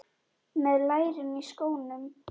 Með lærin í skónum.